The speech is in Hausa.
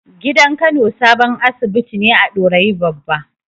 Gidan Kano sabon asibiti ne a Dorayi Babba.